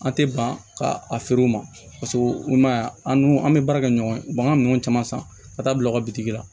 An tɛ ban ka a feere u ma i m'a ye an dun an bɛ baara kɛ ɲɔgɔn u b'an ka minɛnw caman san ka taa bila u ka bitiki la